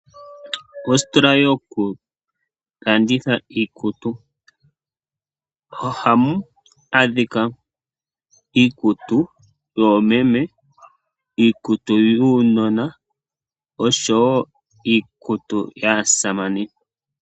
Oositola yokulanditha iikutu, ohamu adhika iikutu yoomeme, iikutu yuunona oshowo iikutu yaasamane.